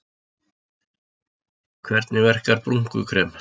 Hvernig verkar brúnkukrem?